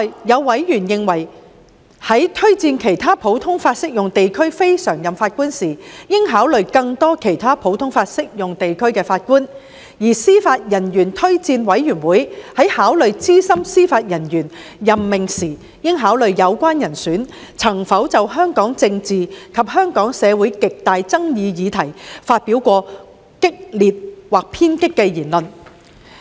有委員亦認為，在推薦其他普通法適用地區非常任法官時，應考慮更多其他普通法適用地區的法官，而司法人員推薦委員會在考慮資深司法人員任命時，應考慮有關人選曾否就香港政治及香港社會極大爭議議題，發表激烈或偏激的言論。